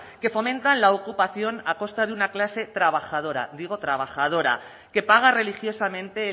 que fomentan la ocupación a costa de una clase trabajadora digo trabajadora que paga religiosamente